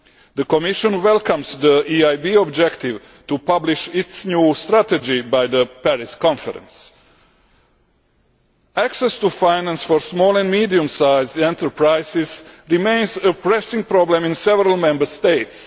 The Commission welcomes the EIB objective to publish its new strategy by the Paris Conference. Access to finance for small and medium sized enterprises remains a pressing problem in several Member States.